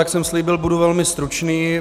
Jak jsem slíbil, budu velmi stručný.